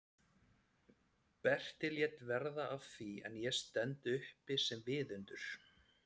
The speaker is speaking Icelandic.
Berti lét verða af því en ég stend uppi sem viðundur?